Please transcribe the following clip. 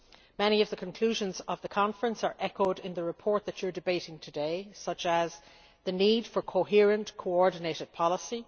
Many of the conclusions of the conference are echoed in the report that you are debating today, such as the need for a coherent, coordinated policy